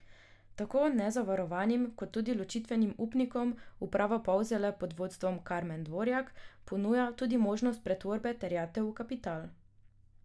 Tako nezavarovanim kot tudi ločitvenim upnikom uprava Polzele pod vodstvom Karmen Dvorjak ponuja tudi možnost pretvorbe terjatev v kapital.